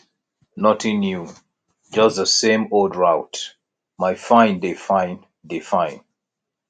nothing new just di same old route my fine dey fine dey fine